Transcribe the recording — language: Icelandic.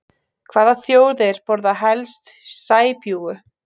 Hvaða þjóðir borða helst sæbjúgu?